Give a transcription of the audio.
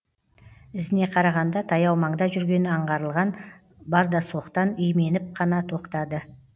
ізіне қарағанда таяу маңда жүргені аңғарылған бардасоқтан именіп қана тоқтады